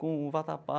Com o vatapá.